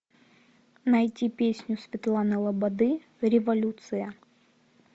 найти песню светланы лободы революция